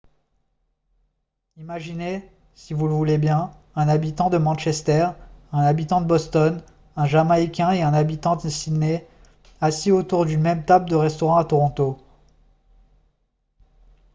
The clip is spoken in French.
imaginez si vous le voulez bien un habitant de manchester un habitant de boston un jamaïcain et un habitant de sydney assis autour d'une même table de restaurant à toronto